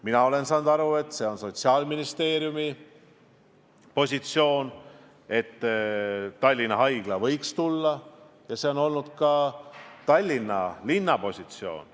Mina olen nii aru saanud, et see on Sotsiaalministeeriumi positsioon, et Tallinna Haigla võiks tulla, ja see on olnud ka Tallinna linna positsioon.